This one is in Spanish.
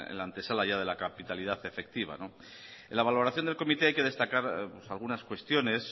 la antesala ya de la capitalidad efectiva no en la valoración del comité hay que destacar pues algunas cuestiones